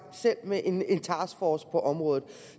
med en task force på området